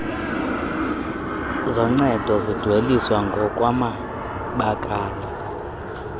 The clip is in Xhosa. zoncedo zidweliswa ngokwamabakala